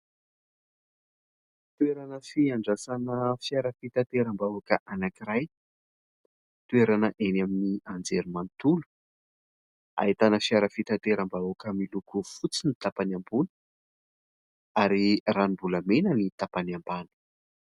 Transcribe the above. Toerana fiandrasana fiara fitateram-bahoaka anankiray, toerana eny amin'ny anjerimanontolo, ahitana fiara fitateram-bahoaka : miloko fotsy ny tapany ambony ary ranom-bolamena ny tapany ambany.